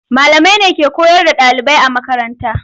Malamai ne ke koyar da ɗalibai a makaranta.